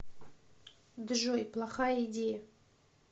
джой плохая идея